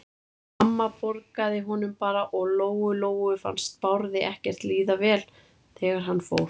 En mamma borgaði honum bara og Lóu-Lóu fannst Bárði ekkert líða vel þegar hann fór.